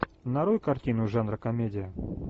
нарой картину жанра комедия